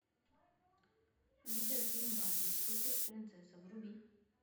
видеофильм барби суперпринцесса вруби